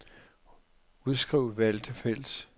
Udskriv valgte felt.